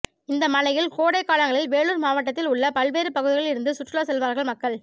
இந்த மலையில் கோடை காலங்களில் வேலூர் மாவட்டத்தில் உள்ள பல்வேறு பகுதிகளில் இருந்து சுற்றுலா செல்வார்கள் மக்கள்